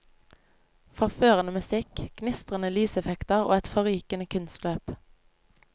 Forførende musikk, gnistrende lyseffekter og et forrykende kunstløp.